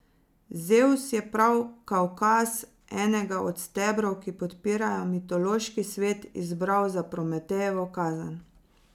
Zevs je prav Kavkaz, enega od stebrov, ki podpirajo mitološki svet, izbral za Prometejevo kazen.